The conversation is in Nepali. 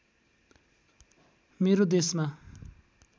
मेरो देशमा